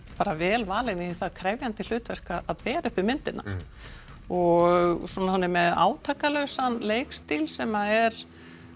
bara vel valin í þetta krefjandi hlutverk að bera uppi myndina og hún er með leikstíl sem er